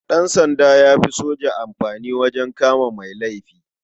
Ɗansanda ya fi soja amfani wajen kama mai laifi.